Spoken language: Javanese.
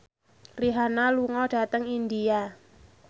Rihanna lunga dhateng India